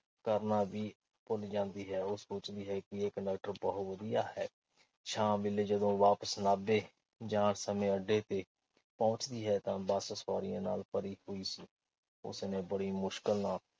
ਕਰਨਾ ਵੀ ਭੁੱਲ ਜਾਂਦੀ ਹੈ। ਉਹ ਸੋਚਦੀ ਹੈ ਕਿ ਇਹ ਕੰਡਕਟਰ ਬਹੁਤ ਵਧੀਆ ਹੈ। ਸ਼ਾਮ ਵੇਲੇ ਜਦੋਂ ਵਾਪਸ ਨਾਭੇ ਜਾਣ ਸਮੇਂ ਅੱਡੇ ਪਹੁੰਚਦੀ ਹੈ ਤਾਂ ਬੱਸ ਸਵਾਰੀਆਂ ਨਾਲ ਭਰੀ ਹੋਈ ਸੀ। ਉਸ ਨੇ ਬੜੀ ਮੁਸ਼ਕਿਲ ਨਾਲ